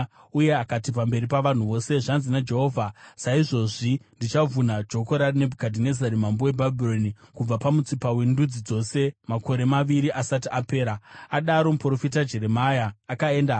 uye akati, pamberi pavanhu vose, “Zvanzi naJehovha: ‘Saizvozvi ndichavhuna joko raNebhukadhinezari mambo weBhabhironi kubva pamutsipa wendudzi dzose makore maviri asati apera.’ ” Adaro, muprofita Jeremia akaenda hake.